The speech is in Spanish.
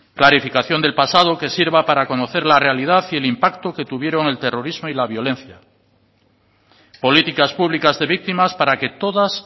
clarificación del pasado que sirva para conocer la realidad y el impacto que tuvieron el terrorismo y la violencia políticas públicas de víctimas para que todas